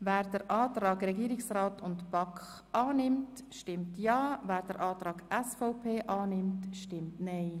Wer den Antrag von Regierungsrat und BaK annimmt, stimmt Ja, wer den Antrag SVP annimmt, stimmt Nein.